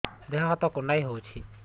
ଦେହ ହାତ କୁଣ୍ଡାଇ ହଉଛି